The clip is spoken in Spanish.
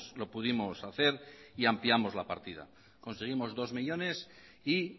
lo pudimos hacer y ampliamos la partida conseguimos dos millónes y